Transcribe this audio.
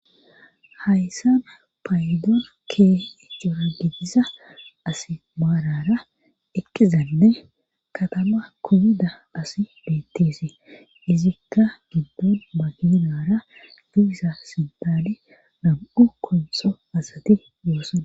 hayssana paydoon keehe cora gidisa as maarara eqkizanne katama kubida asi beetteese izikka giddon maginara dugisa sintaali nam7u konso asati yoosan